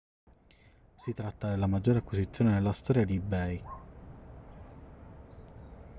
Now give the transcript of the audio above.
si tratta della maggiore acquisizione nella storia di ebay